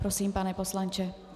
Prosím, pane poslanče.